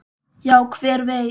Já, hver veit?